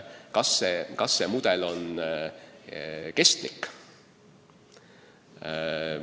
Kas see mudel on kestlik?